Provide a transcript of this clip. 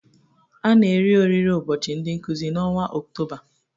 A na-eri oriri ụbọchị ndị Nkụzi n'ọnwa Ọktoba